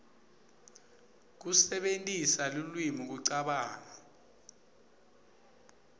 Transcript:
kusebentisa lulwimi kucabanga